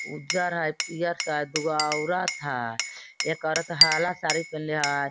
उज्जर हय पियर हय दुगो औरत हय एक औरत हाला साड़ी पहनले हय।